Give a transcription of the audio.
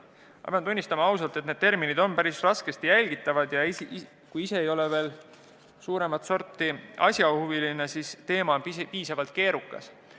Ma pean ausalt tunnistama, et terminid on päris raskesti jälgitavad ja kui ise ei ole suuremat sorti asjahuviline, siis tundub teema üsna keerukas.